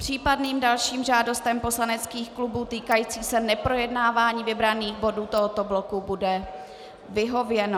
Případným dalším žádostem poslaneckých klubů týkajícím se neprojednávání vybraných bodů tohoto bloku bude vyhověno.